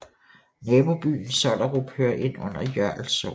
Nabobyen Sollerup hører under Jørl Sogn